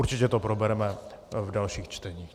Určitě to probereme v dalších čteních.